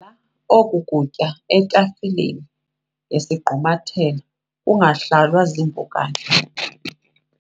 oku kutya etafileni ngesigqumathelo kungahlalwa ziimpukane.